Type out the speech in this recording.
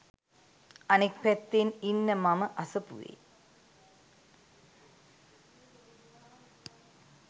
අනෙක් පැත්තෙන් ඉන්න මම අසපුවේ